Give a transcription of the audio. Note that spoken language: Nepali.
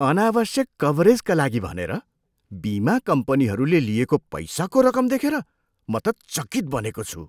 अनावश्यक कभरेजका लागि भनेर बिमा कम्पनीहरूले लिएको पैसाको रकम देखेर म त चकित बनेको छु।